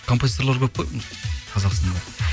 композиторлар көп қой қазақстанда